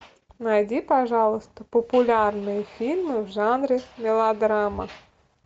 найди пожалуйста популярные фильмы в жанре мелодрама